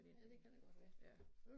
Ja det kan da godt være